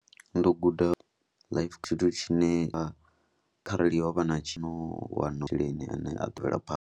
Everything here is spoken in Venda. Ndo guda life tshithu tshine tsha kharali ho vha na tshiwo hu a vha na masheleni ane a mvela phanḓa.